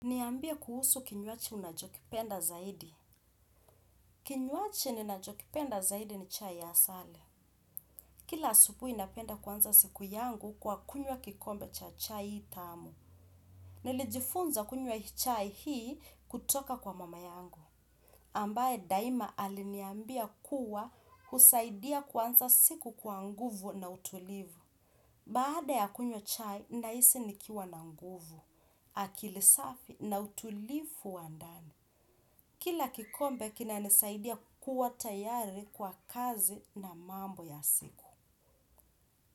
Niambie kuhusu kinywaji unachokipenda zaidi. Kinywaji ninachokipenda zaidi ni chai ya asale. Kila asubuhi napenda kuanza siku yangu kwa kunywa kikombe cha chai tamu. Nilijifunza kunywa chai hii kutoka kwa mama yangu. Ambaye daima aliniambia kuwa husaidia kuanza siku kwa nguvu na utulivu. Baada ya kunywa chai, nahisi nikiwa na nguvu, akili safi na utulivu wa ndani. Kila kikombe kinanisaidia kuwa tayari kwa kazi na mambo ya siku.